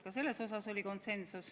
Ka selles osas oli konsensus.